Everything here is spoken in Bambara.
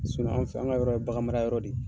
an fɛ, an ga yɔrɔ ye, bagan mara yɔrɔ de ye.